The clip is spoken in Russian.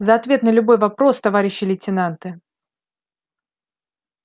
за ответ на любой вопрос товарищи лейтенанты